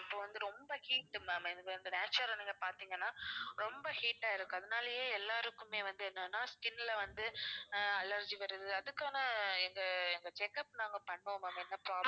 இப்ப வந்து ரொம்ப heat ma'am நீங்க பார்த்திங்கன்னா ரொம்ப heat ஆ இருக்கு அதனாலயே எல்லாருக்குமே வந்து என்னன்னா skin ல வந்து அஹ் allergy வருது அதுக்கான எங்க எங்க check up நாங்க பண்ணுவோம் ma'am என்ன problem